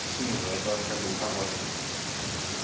снизу это вообще будет огонь